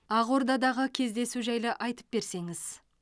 ақордадағы кездесу жайлы айтып берсеңіз